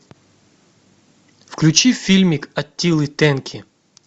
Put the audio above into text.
включи фильмик аттилы тенки